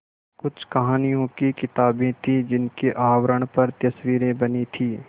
कुछ कहानियों की किताबें थीं जिनके आवरण पर तस्वीरें बनी थीं